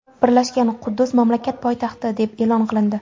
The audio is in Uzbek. Birlashgan Quddus mamlakat poytaxti deb e’lon qilindi.